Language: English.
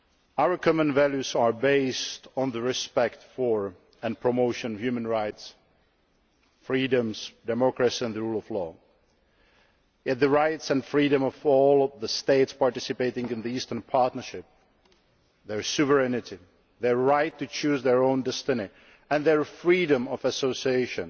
Our common values are based on the respect for and promotion of human rights, freedoms, democracy, and the rule of law. Yet, the rights and freedom of all the states participating in the Eastern Partnership their sovereignty, their right to choose their own destiny, and their freedom of association